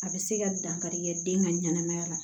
A bɛ se ka dankari kɛ den ka ɲɛnamaya la